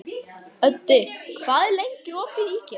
Öddi, hvað er lengi opið í IKEA?